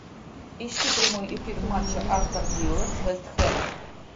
ищи прямой эфир матча астон вилла с вест хэмом